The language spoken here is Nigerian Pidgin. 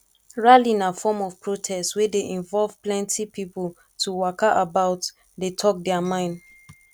rally na form of protest wey de involve plenty pipo to waka about de talk their mind